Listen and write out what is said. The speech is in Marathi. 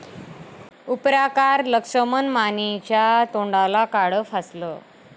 उपराकार लक्ष्मण मानेंच्या तोंडाला काळं फासलं